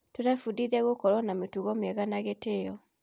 Tũrebundithia gũkorwo na mĩtugo mĩeha na gĩtĩo.